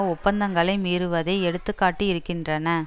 ஒப்பந்தங்களை மீறுவதை எடுத்து காட்டி இருக்கின்றன